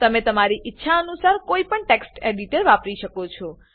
તમે તમારી ઈચ્છા અનુસાર કોઈ પણ ટેક્સ્ટ એડિટર વાપરી શકો છો